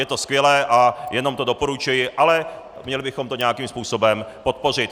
Je to skvělé a jenom to doporučuji, ale měli bychom to nějakým způsobem podpořit.